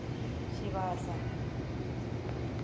tshivhasa